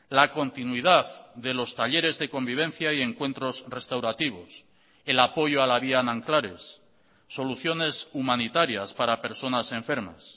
la continuidad de los talleres de convivencia y encuentros restaurativos el apoyo a la vía nanclares soluciones humanitarias para personas enfermas